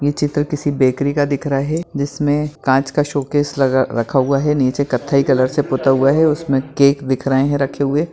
यह चित्र किसी बेकरी का दिख रहा है जिसमें कांच का शोकेस लगा रखा हुआ है नीचे कत्थई कलर से पोता हुआ है उसमें केक दिख रहे है रखे हुए।